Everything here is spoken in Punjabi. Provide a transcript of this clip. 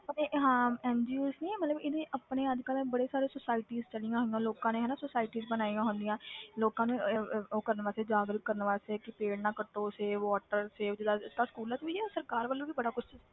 ਪਤਾ ਹੈ ਹਾਂ NGO s ਨੀ ਮਤਲਬ ਇਹਦੇ ਆਪਣੇ ਅੱਜ ਕੱਲ੍ਹ ਬੜੇ ਸਾਰੇ societies ਚੱਲੀਆਂ ਹੋਈਆਂ ਲੋਕਾਂ ਨੇ ਹਨਾ societies ਬਣਾਈਆਂ ਹੁੰਦੀਆਂ ਲੋਕਾਂ ਨੂੰ ਇਹ ਇਹ ਉਹ ਕਰਨ ਵਾਸਤੇ ਜਾਗਰੂਕ ਕਰਨ ਵਾਸਤੇ ਕਿ ਪੇੜ੍ਹ ਨਾ ਕੱਟੋ save water save the earth ਤਾਂ schools 'ਚ ਵੀ ਯਾਰ ਸਰਕਾਰ ਵੱਲੋਂ ਵੀ ਬੜਾ ਕੁਛ,